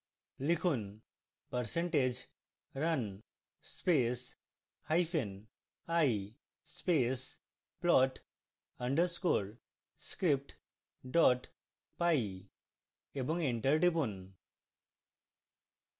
লিখুন percentage run space hyphen i space plot underscore script py এবং enter টিপুন